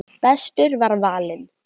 Bestur var valinn.